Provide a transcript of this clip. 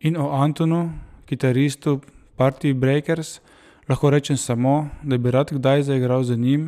In o Antonu, kitaristu Partibrejkers, lahko rečem samo, da bi rad kdaj zaigral z njim,